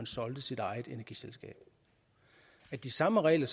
solgte sit eget energiselskab de samme regler